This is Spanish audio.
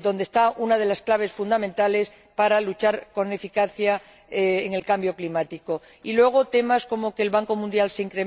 donde reside una de las claves fundamentales para luchar con eficacia contra el cambio climático y, luego, temas como que el Banco Mundial se